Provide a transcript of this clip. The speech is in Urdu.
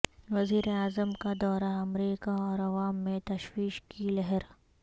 وزیراعظم کادورہ امریکہ اور عوام میں تشویش کی لہر